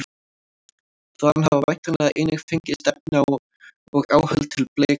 Þaðan hafa væntanlega einnig fengist efni og áhöld til blekgerðar.